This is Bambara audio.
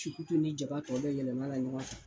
Cukutu ni jaba tɔ bɛɛ yɛlɛma la ɲɔgɔn kan.